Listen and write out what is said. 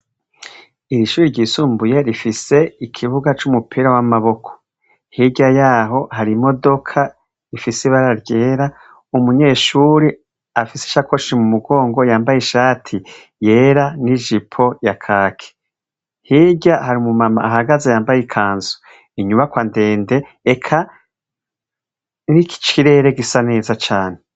Iri shure ryisumbuye rifise ikibuga c'umupira w'amaboko. Hirya yaho hari imodoka y'ibara ryera. Umunyeshure afise isakoshi mu mugongo, yambaye ishati yera n'ijipo ya kaki. Hirya hari umu mama yambaye ikanzu, inyubakwa ndende eka n'ikirere gisa neza cane.